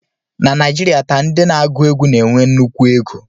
Na Naijiria taa, ndị na-agụ egwu na-enwe nnukwu ego